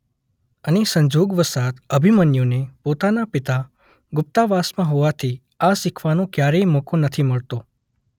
અને સંજોગ વસાત અભિમન્યુને પોતાના પિતા ગુપ્તવાસમાં હોવાથી આ શીખવાનો ક્યારેય મોકો નથી મળતો.